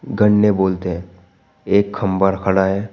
गन्ने बोलते हैं एक खंबा खड़ा है।